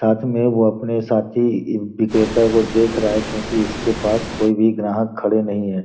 साथ में वो अपने साथी विक्रेता को देख रहा है क्योंकि इसके पास कोई भी ग्राहक खड़े नहीं है।